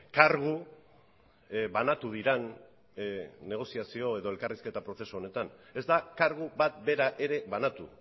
kargu banatu diren negoziazio edo elkarrizketa prozesu honetan ez da kargu bat bera ere banatu